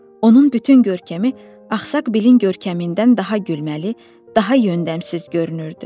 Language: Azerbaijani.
Onun bütün görkəmi axsaq Bilin görkəmindən daha gülməli, daha yöndəmsiz görünürdü.